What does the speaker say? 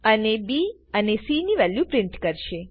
અને બી અને cની વેલ્યુ પ્રિન્ટ કરશે